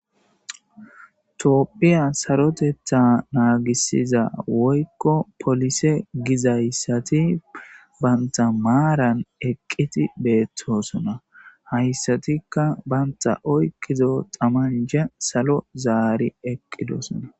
toophphiya sarotetha naagisiza woykko polise gizayssati banta maaran eqqiti beettosona hayssatikka banta oyqizo xamanja salo zaari eqqidosona